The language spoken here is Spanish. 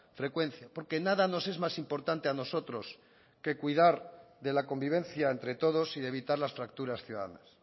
frecuencia porque nada nos es más importante a nosotros que cuidar de la convivencia entre todos y de evitar las fracturas ciudadanas